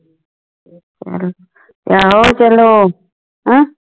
ਆਹੋ ਚਲੋ